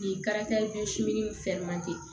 Bi